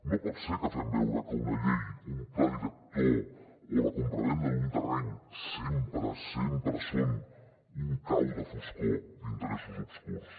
no pot ser que fem veure que una llei un pla director o la compravenda d’un terreny sempre són un cau de foscor d’interessos obscurs